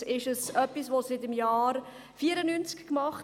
Übrigens wird das seit dem Jahr 1984 gemacht.